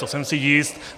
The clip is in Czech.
To jsem si jist.